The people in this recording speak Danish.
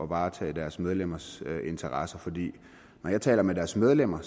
varetage deres medlemmers interesser for når jeg taler med deres medlemmer